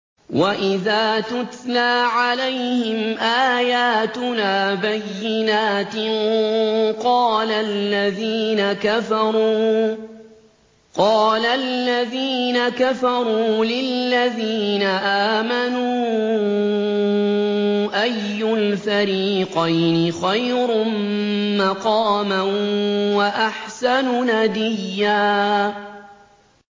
وَإِذَا تُتْلَىٰ عَلَيْهِمْ آيَاتُنَا بَيِّنَاتٍ قَالَ الَّذِينَ كَفَرُوا لِلَّذِينَ آمَنُوا أَيُّ الْفَرِيقَيْنِ خَيْرٌ مَّقَامًا وَأَحْسَنُ نَدِيًّا